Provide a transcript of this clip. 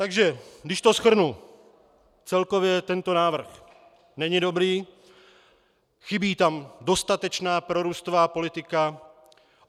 Takže když to shrnu, celkově tento návrh není dobrý, chybí tam dostatečná prorůstová politika.